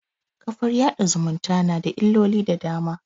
kafar yaɗa zumunta na da illoli da dama